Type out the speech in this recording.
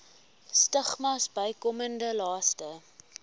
stigmas bykomende laste